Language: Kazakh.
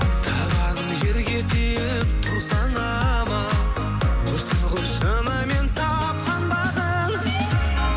табаның жерге тиіп тұрсаң аман осы ғой шынымен тапқан бағың